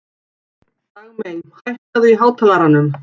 Dagmey, hækkaðu í hátalaranum.